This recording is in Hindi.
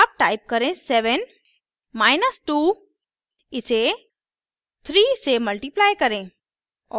अब टाइप करें 7 माइनस 2 इसे 3 से मल्टिप्लाई करें